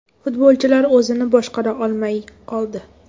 Futbolchilar o‘zini boshqara olmay qoldi.